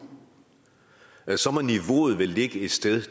er så må niveauet vel ligge et sted